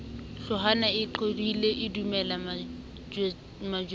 hloohwana e qethohile edumella matswejana